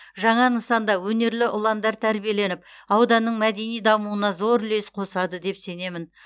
жаңа нысанда өнерлі ұландар тәрбиеленіп ауданның мәдени дамуына зор үлес қосады деп сенемін